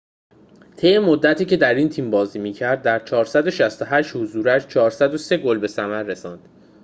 طی مدتی که در این تیم بازی می‌کرد در ۴۶۸ حضورش ۴۰۳ گل به ثمر رساند